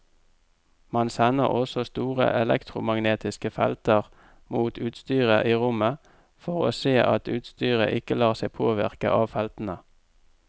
Man sender også store elektromagnetiske felter mot utstyret i rommet for å se at utstyret ikke lar seg påvirke av feltene.